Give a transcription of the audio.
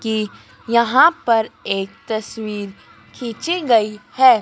कि यहां पर एक तस्वीर खींची गई है।